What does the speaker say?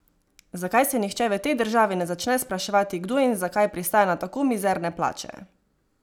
Zakaj se nihče v tej državi ne začne spraševati, kdo in zakaj pristaja na tako mizerne plače?